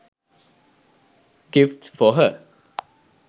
gifts for her